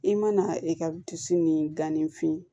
I mana e ka disi ni gan ni fin